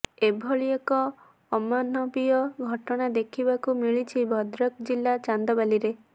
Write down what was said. ଏଭଳି ଏକ ଅମାନବୀୟ ଘଟଣା ଦେଖିବାକୁ ମିଳିଛି ଭଦ୍ରକ ଜିଲା ଚାନ୍ଦବାଲିରେ